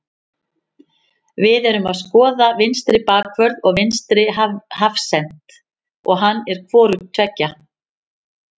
Við erum að skoða vinstri bakvörð og vinstri hafsent og hann er hvorugt tveggja.